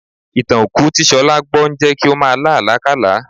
Ìtàn òkú tí Ṣọlá gbọ́ ń jẹ́ kí ó máa lá àlákálàá